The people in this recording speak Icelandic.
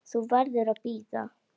Þú verður að bíða.